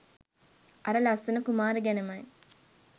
අර ලස්සන කුමාරි ගැනමයි.